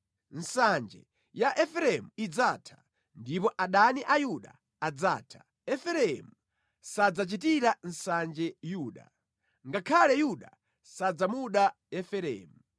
Nsanje ya Efereimu idzatha, ndipo adani a Yuda adzatha; Efereimu sadzachitira nsanje Yuda, ngakhale Yuda sadzamuda Efereimu.